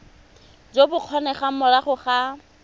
jo bo kgonegang morago ga